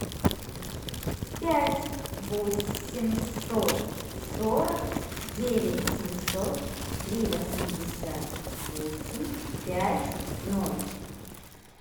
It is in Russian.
пять восемьсот сорок девять семьсот три восемьдесят восемь пять ноль